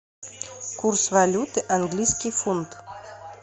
курс валюты английский фунт